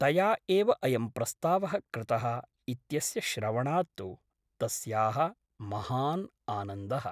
तया एव अयं प्रस्तावः कृतः इत्यस्य श्रवणात् तु तस्याः महान् आनन्दः ।